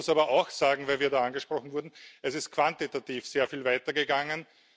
Man muss aber auch sagen, weil wir da angesprochen wurden Es ist quantitativ sehr viel weiter gegangen.